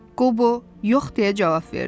Qobo yox deyə cavab verdi.